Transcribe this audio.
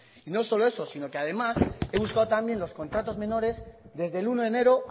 y no solo eso sino que además he buscado también los contratos menores desde el uno de enero